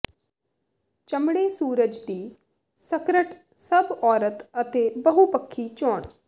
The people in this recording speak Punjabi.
ਚਮੜੇ ਸੂਰਜ ਦੀ ਸਕਰਟ ਸਭ ਔਰਤ ਅਤੇ ਬਹੁਪੱਖੀ ਚੋਣ